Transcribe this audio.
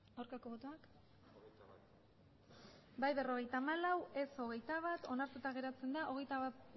aurkako botoak emandako botoak hirurogeita hamabost bai berrogeita hamalau ez hogeita bat onartuta geratzen da hogeita